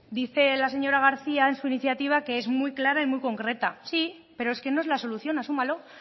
dice la señora garcía en su iniciativa que es muy clara y muy concreta sí pero es que no es la solución asúmalo